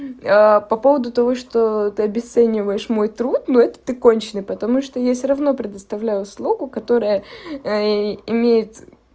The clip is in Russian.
по поводу того что ты обесцениваешь мой труд но это ты конченый потому что я всё равно предоставляю услугу которая имеет